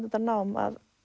þetta nám